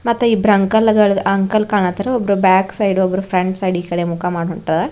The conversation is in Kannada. ಮತ್ತ್ ಇಬ್ರ ಅಂಕಲ್ ಗಳ್ ಅಂಕಲ್ ಕಾಣತ್ತಾರ ಒಬ್ರು ಬ್ಯಾಕ್ ಸೈಡ್ ಒಬ್ಬರು ಫ್ರೆಂಡ್ ಸೈಡ್ ಈಕಡೆ ಮುಖ ಮಾಡಿ ಹೊಂಟಾರ.